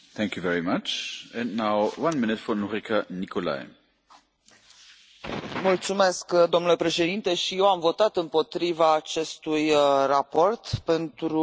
Și eu am votat împotriva acestui raport pentru un singur motiv amendamentul care vizează alegațiile de corupție referitoare la Azerbaidjan.